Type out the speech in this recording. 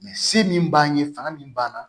se min b'an ye fanga min b'an na